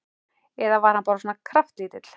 Eða var hann bara svona kraftlítill?